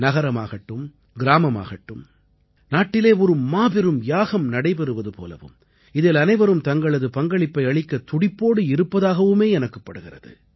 நகரமாகட்டும் கிராமமாகட்டும் நாட்டிலே ஒரு மாபெரும் யாகம் நடைபெறுவது போலவும் இதில் அனைவரும் தங்களது பங்களிப்பை அளிக்கத் துடிப்போடு இருப்பதாகவுமே எனக்குப் படுகிறது